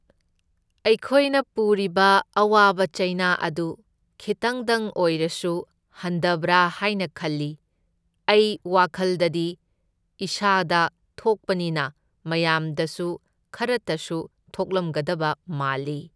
ꯑꯩꯈꯣꯏꯅ ꯄꯨꯔꯤꯕ ꯑꯋꯥꯕ ꯆꯩꯅꯥ ꯑꯗꯨ ꯈꯤꯇꯪꯗꯪ ꯑꯣꯏꯔꯁꯨ ꯍꯟꯗꯕ꯭ꯔꯥ ꯍꯥꯢꯅ ꯈꯜꯂꯤ, ꯑꯩ ꯋꯥꯈꯜꯗꯗꯤ ꯏꯁꯥꯗ ꯊꯣꯛꯄꯅꯤꯅ ꯃꯌꯥꯝꯗꯁꯨ ꯈꯔꯇꯁꯨ ꯊꯣꯛꯂꯝꯒꯗꯕ ꯃꯥꯜꯂꯤ꯫